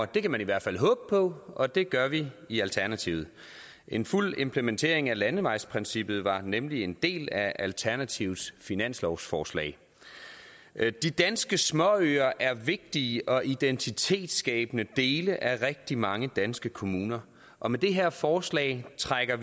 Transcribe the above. det kan man i hvert fald håbe på og det gør vi i alternativet en fuld implementering af landevejsprincippet var nemlig en del af alternativets finanslovsforslag de danske småøer er vigtige og identitetsskabende dele af rigtig mange danske kommuner og med det her forslag trækkes